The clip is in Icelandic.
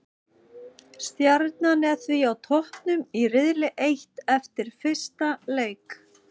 Stjarnan er því á toppnum í riðli eitt eftir fyrsta leik.